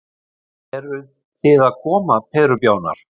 Eruð þið að koma perubjánar.